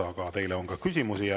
Aga teile on ka küsimusi.